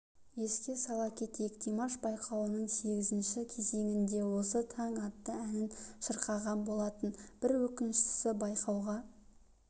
еске сала кетейік димаш байқауының сегізінші кезеңінде осы таң атты әнін шырқаған болатын бір өкініштісі байқауға